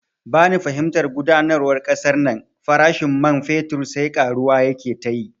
Bani fahimtar gudanarwar kasan nan, farashin man fetur sai karuwa yake tayi